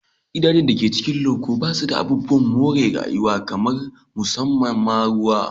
Gidajen da ke cikin loko ba su da abubuwan more rayuwa kamar musamman ma ruwa.